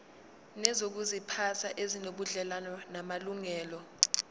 nezokuziphatha ezinobudlelwano namalungelo